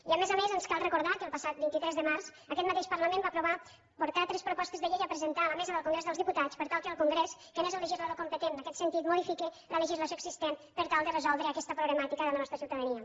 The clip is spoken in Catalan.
i a més a més ens cal recordar que el passat vint tres de març aquest mateix parlament va aprovar portar tres propostes de llei a presentar a la mesa del congrés dels diputats per tal que el congrés que n’és el legislador competent en aquest sentit modifiqui la legislació existent per tal de resoldre aquesta problemàtica de la nostra ciutadania